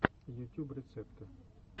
ютюб рецепты